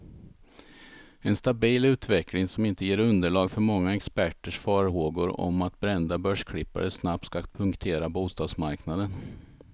En stabil utveckling, som inte ger underlag för många experters farhågor om att brända börsklippare snabbt ska punktera bostadsmarknaden.